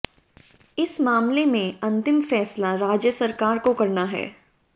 इस मामले में अंतिम फैसला राज्य सरकार को करना है